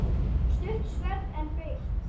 Stutt sverð, en beitt.